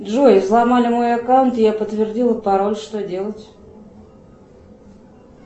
джой взломали мой аккаунт я подтвердила пароль что делать